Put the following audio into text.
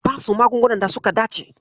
Ka basu magungunan da suka dace.